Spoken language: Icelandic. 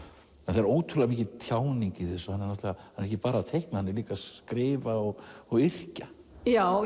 það er ótrúlega mikil tjáning í þessu hann er ekki bara að teikna hann er líka að skrifa og og yrkja já